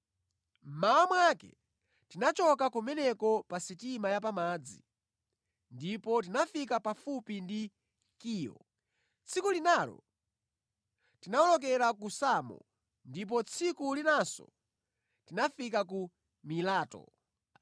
Mmawa mwake tinachoka kumeneko pa sitima ya pamadzi ndipo tinafika pafupi ndi Kiyo. Tsiku linalo tinawolokera ku Samo, ndipo tsiku linanso tinafika ku Mileto.